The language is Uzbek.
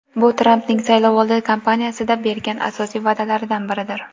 Bu Trampning saylovoldi kampaniyasida bergan asosiy va’dalaridan biridir.